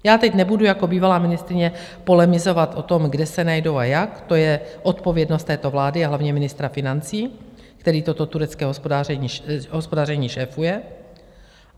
Já teď nebudu jako bývalá ministryně polemizovat o tom, kde se najdou a jak, to je odpovědnost této vlády a hlavně ministra financí, který toto turecké hospodaření šéfuje.